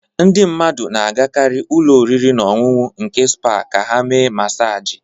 Ndị mmadụ na-agakarị n'ụlọ oriri na ọṅụṅụ nke spa ka ha mee masaji